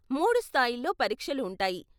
మూడు స్థాయిల్లో పరీక్షలు ఉంటాయి.